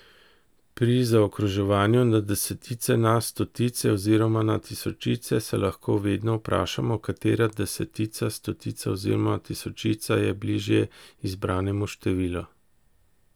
Pri zaokroževanju na desetice, na stotice oziroma na tisočice se lahko vedno vprašamo, katera desetica, stotica oziroma tisočica je bližje izbranemu številu.